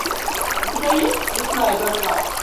у тебя есть лесная братва